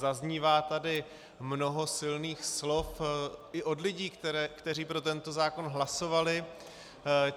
Zaznívá tady mnoho silných slov i od lidí, kteří pro tento zákon hlasovali.